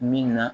Min na